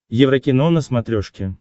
еврокино на смотрешке